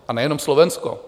A nejenom Slovensko.